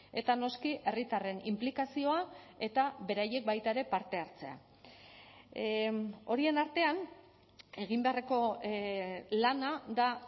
eta noski herritarren inplikazioa eta beraiek baita ere parte hartzea horien artean egin beharreko lana da